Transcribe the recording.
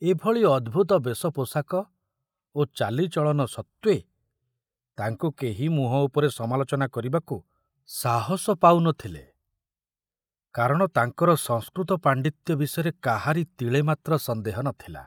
ଏ ଭଳି ଅଦ୍ଭୁତ ବେଶ ପୋଷାକ ଓ ଚାଲିଚଳନ ସତ୍ତ୍ୱେ ତାଙ୍କୁ କେହି ମୁହଁ ଉପରେ ସମାଲୋଚନା କରିବାକୁ ସାହସ ପାଉ ନଥିଲେ, କାରଣ ତାଙ୍କର ସଂସ୍କୃତ ପାଣ୍ଡିତ୍ୟ ବିଷୟରେ କାହାରି ତିଳେ ମାତ୍ର ସନ୍ଦେହ ନଥିଲା।